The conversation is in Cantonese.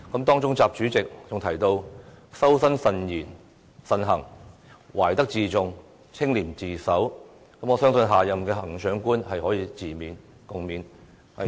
當中習主席更提到修身慎行，懷德自重，清廉自守，我相信下任行政長官可自勉、共勉。